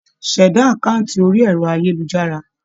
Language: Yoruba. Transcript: Ṣẹ̀dá àkáǹtì orí ẹ̀rọ-ayélujára.